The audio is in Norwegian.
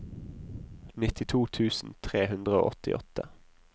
nittito tusen tre hundre og åttiåtte